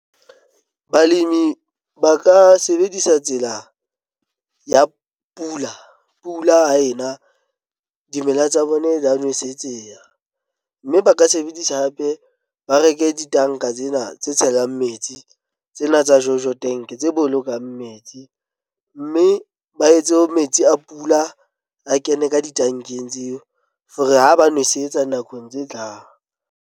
Balemi ba ka sebedisa tsela ya pula pula ha ena. Dimela tsa bona di nwesetseya mme ba ka sebedisa hape ba reke ditanka tsena tse tshelang metsi tsena tsa jojo tank tse bolokang metsi, mme ba etse metsi a pula a kene ka ditankeng tseo, for-e ha ba nosetsa nakong tse tlang.